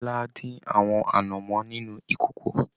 Bọla din àwọn anamọ nínú ìkòkò.